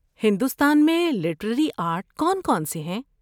ہندوستان میں literary art کون کون سے ہیں؟